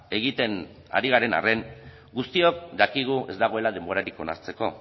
egiten ari garen arren guztiok dakigu ez dagoela denborarik onartzeko